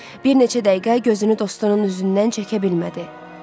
Bir neçə dəqiqə gözünü dostunun üzündən çəkə bilmədi.